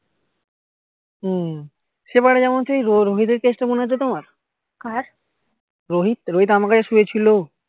হম সেবারে যেমন সেই রোহিত দের case টা মনে আছে তোমার রোহিত রোহিত আমার কাছে শুয়েছিল